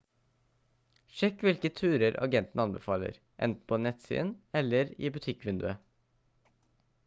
sjekk hvilke turer agenten anbefaler enten på nettsiden eller i butikkvinduet